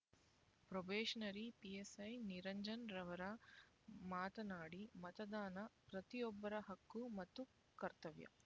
probationary PSI Niranjan ರವರು ಮಾತನಾಡಿ ಮತದಾನ ಪ್ರತಿಯೊಬ್ಬರ ಹಕ್ಕು ಮತ್ತು ಕರ್ತವ್ಯ